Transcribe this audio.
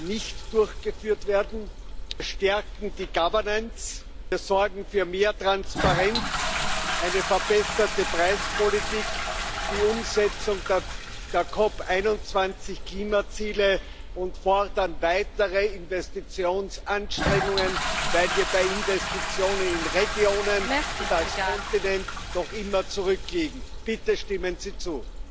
nicht durchgeführt werden, wir stärken die Governance, wir sorgen für mehr Transparenz, eine verbesserte Preispolitik und die Umsetzung der COP21 Klimaziele, und wir fordern weitere Investitionsanstrengungen, weil wir bei Investitionen in Regionen und als Kontinent noch immer zurückliegen. Bitte stimmen Sie zu!